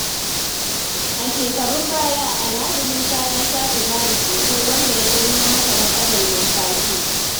A shekarun baya, Alhaji Musa ya sha sigari sosai, wanda ya jawo masa matsalar numfashi.